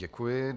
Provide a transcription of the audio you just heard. Děkuji.